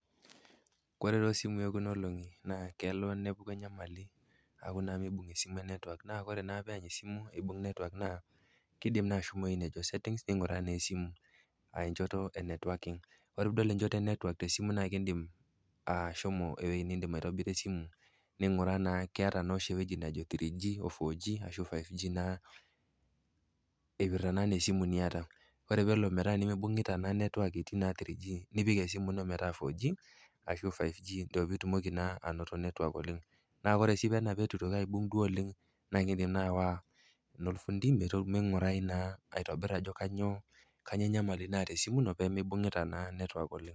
Kore too simui ekuna olong'i naa kelo naa nepuku enyamali aaku naa meibung esimu network naa ore pee eany esimu eibung network naa indim naa ashomo ewueji neji setting ning'uraa naa esimu enchoto e networking. Ore pee idol enchoto e network te simu naa indim na ashomo ewueji nintobirie esimu, ning'uraa naa keata entoki najo 3G, 4G ashu 5G ipirta naa anaa esimu niata. Ore nabo mibung'ita naa network etii 3G nepik naa 4G ashu 5G piitumoki naa ainoto network oleng. Kake ore sii tena peitu eitoki duo aibung oleng, nindim naa aawa enolfundi meing'urai naa aitobir adol ajo kanyoo enyamali naata esimu ino pee meibung'ita naa network oleng.